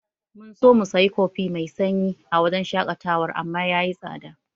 Mun so mu sayi kofi mai sanyi a wajen shaƙatawar amma yayi tsada.